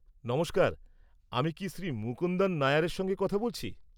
নমস্কার, আমি কি শ্রী মুকুন্দন নায়ার-এর সঙ্গে কথা বলছি?